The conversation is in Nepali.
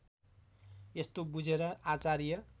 यस्तो बुझेर आचार्य